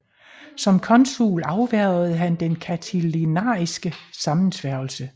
Som consul afværgede han den catilinariske sammensværgelse